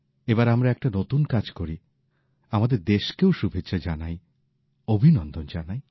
এবার আমরা একটা নতুন কাজ করি আমাদের দেশকেও শুভেচ্ছা জানাই অভিনন্দন জানাই